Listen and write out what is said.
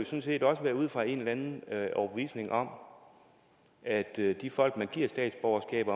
set også være ud fra en eller anden overbevisning om at de folk man giver statsborgerskab